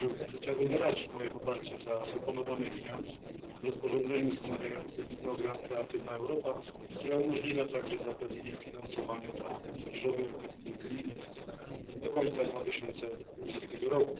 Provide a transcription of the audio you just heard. Chciałbym wyrazić poparcie dla proponowanych zmian w rozporządzeniu ustanawiającym program Kreatywna Europa, które umożliwia także zapewnienie finansowania dla Młodzieżowej Orkiestry Unijnej do końca 2020 r.